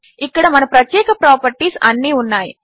ఇక్కడ మన ప్రత్యేక ప్రాపర్టీస్ అన్నీ ఉన్నాయి